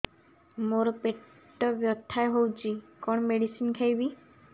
ମୋର ପେଟ ବ୍ୟଥା ହଉଚି କଣ ମେଡିସିନ ଖାଇବି